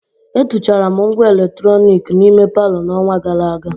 Etuchara m ngwa eletrọnịkị n'ime palọ n'ọnwa gara aga.